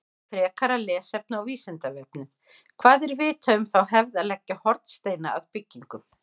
Frekara lesefni á Vísindavefnum: Hvað er vitað um þá hefð að leggja hornsteina að byggingum?